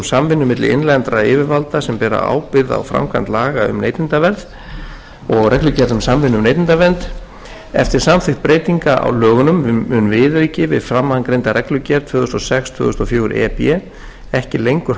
samvinnu milli innlendra yfirvalda sem bera ábyrgð á framkvæmd laga um neytendavernd eftir samþykkt breytinga á lögunum mun viðauki við framangreinda reglugerð tvö þúsund og sex tvö þúsund og fjögur e b ekki lengur